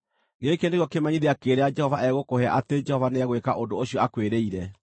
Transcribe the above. “ ‘Gĩkĩ nĩkĩo kĩmenyithia kĩrĩa Jehova egũkũhe atĩ Jehova nĩegwĩka ũndũ ũcio akwĩrĩire: